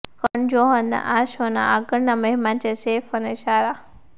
કરણ જોહરના આ શો ના આગળ ના મહેમાન છે સૈફ અને સારા